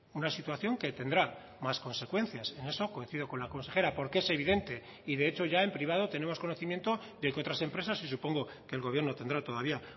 una situación que tendrá más consecuencias en eso coincido con la consejera porque es evidente y de hecho ya en privado tenemos conocimiento de que otras empresas y supongo que el gobierno tendrá todavía